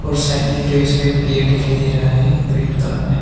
उस साइड में जो इसमें पेड़ दिखाई दे रहा है ग्रीन कलर में।